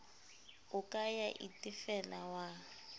o ka ya itefela wa